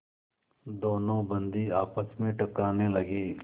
दोनों बंदी आपस में टकराने लगे